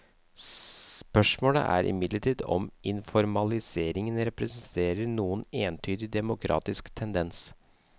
Spørsmålet er imidlertid om informaliseringen representerer noen entydig demokratisk tendens.